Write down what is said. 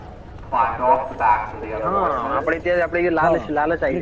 અપડે તો લાલચ આવી જાય એ